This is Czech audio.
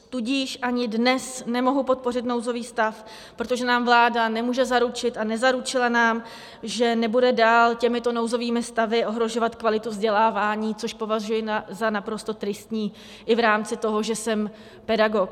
Tudíž ani dnes nemohu podpořit nouzový stav, protože nám vláda nemůže zaručit a nezaručila nám, že nebude dál těmito nouzovými stavy ohrožovat kvalitu vzdělávání, což považuji za naprosto tristní i v rámci toho, že jsem pedagog.